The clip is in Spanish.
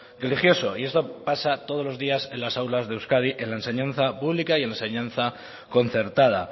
religioso y esto pasa todos los días en las aulas de euskadi en la enseñanza pública y en la enseñanza concertada